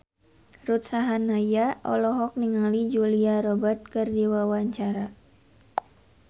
Ruth Sahanaya olohok ningali Julia Robert keur diwawancara